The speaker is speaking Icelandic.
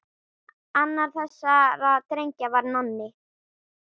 Annar þessara drengja var Nonni.